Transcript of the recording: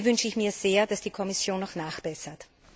Hier wünsche ich mir sehr, dass die Kommission noch nachbessert.